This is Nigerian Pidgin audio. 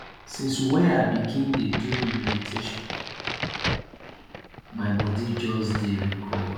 since wey i begin dey do meditation my bodi just dey recover